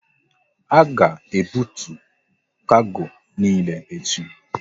A ga ebutu kargo niile echi!